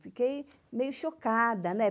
Fiquei meio chocada, né?